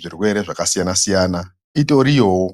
zvirwere zvakasiyana-siyana itoriyowo.